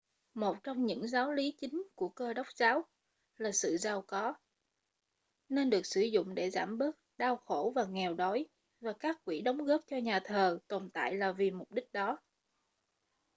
một trong những giáo lý chính của cơ đốc giáo là sự giàu có nên được sử dụng để giảm bớt đau khổ và nghèo đói và các quỹ đóng góp cho nhà thờ tồn tại là vì mục đích đó